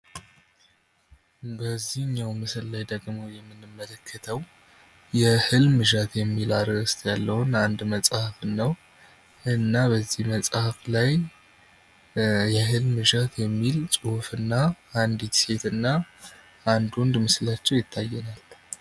በዚህኛው ምስል ላይ ደግሞ የምንመለከተው የእልም እዣት የሚል ርዕስ ያለውን አንድ መጽሐፍ ነው በዚህ መጽሐፍ ላይ የእልም እዣት የሚል ጽሁፍና አንድ ሴትና አንዱ ወንድ ምስላቸው ይታየኛል።